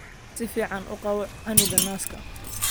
Si fiican u qabo canuga naaska.